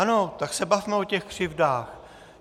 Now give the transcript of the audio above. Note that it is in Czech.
Ano, tak se bavme o těch křivdách.